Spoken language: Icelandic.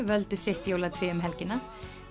völdu sitt jólatré um helgina